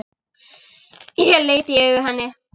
Ég leit í augu henni.